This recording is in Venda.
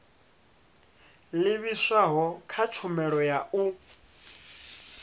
livhiswaho kha tshumelo ya u